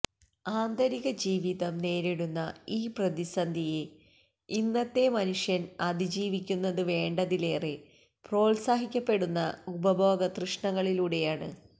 ആന്തരികജീവിതം നേരിടുന്ന ഈ പ്രതിസന്ധിയെ ഇന്നത്തെ മനുഷ്യൻ അതിജീവിക്കുന്നത് വേണ്ടതിലേറെ പ്രോത്സാഹിപ്പിക്കപ്പെടുന്ന ഉപഭോഗ തൃഷ്ണകളിലൂടെയാണ്